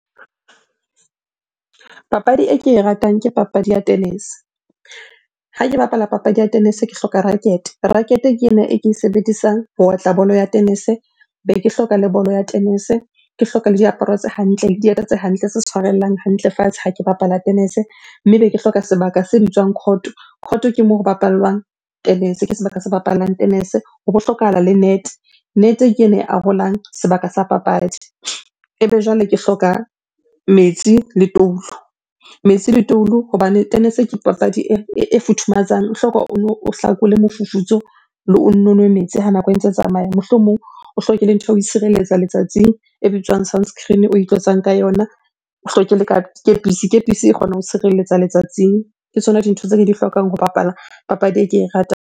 Papadi e ke e ratang ke papadi ya tennis-e. Ha ke bapala papadi ya tennis-e, ke hloka racket. Racket ke ena e ke e sebedisang ho otla bolo ya tennis-e. Be ke hloka le bolo ya tennis-e, ke hloka le diaparo tse hantle, le dieta tse hantle tse tshwarellang hantle fatshe ha ke bapala tennis-e. Mme be ke hloka sebaka se bitswang court. Court ke moo ho bapallwang tennis-e, ke sebaka se bapallang tennis-e. Hobo hlokahala le net, net-e ke ena e arolang sebaka sa papadi. Ebe jwale ke hloka metsi le toulo, metsi le toulo hobane tennis-e ke papadi e futhumatsang. O hloka ono o hlakole mofufutso, le o nno nwe metsi ha nako e ntse tsamaya. Mohlomong o hloke le ntho tshireletsa letsatsing, e bitswang sunscreen o itlosang ka yona. O hloke le kepisi, kepisi e kgona ho tshireletsa letsatsing. Ke tsona dintho tse ke di hlokang ho bapala papadi e ke e